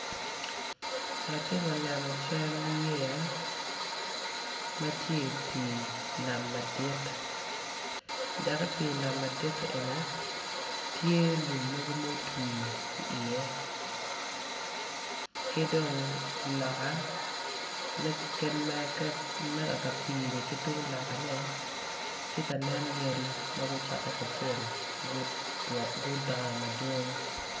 Atye ka neno cal yeya matye i pi nam madit, dok i pi nam madit eni tye lum mogo mogo motwi i ye kidong loka me kaka pini kitung loka ne tye ka nen yadi magucoke kacel guda madwong.